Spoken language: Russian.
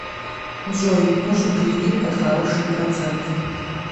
джой нужен кредит под хорошие проценты